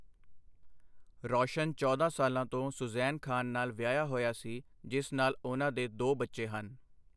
ਰੌਸ਼ਨ ਚੌਦਾਂ ਸਾਲਾਂ ਤੋਂ ਸੁਜ਼ੈਨ ਖਾਨ ਨਾਲ ਵਿਆਹਿਆ ਹੋਇਆ ਸੀ, ਜਿਸ ਨਾਲ ਉਨ੍ਹਾਂ ਦੇ ਦੋ ਬੱਚੇ ਹਨ।